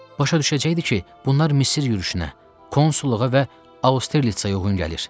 Başa düşəcəkdi ki, bunlar Misir yürüşünə, konsulluğa və Austerlisə uyğun gəlir.